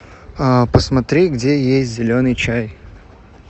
посмотри где есть зеленый чай